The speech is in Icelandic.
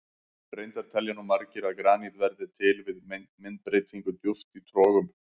Reyndar telja nú margir að granít verði til við myndbreytingu djúpt í trogum.